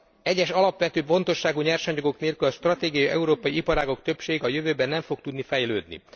Egyes alapvető fontosságú nyersanyagok nélkül az stratégiai európai iparágak többsége a jövőben nem fog tudni fejlődni.